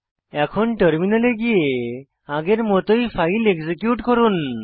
এখন টার্মিনালে গিয়ে আগের মতই ফাইল এক্সিকিউট করুন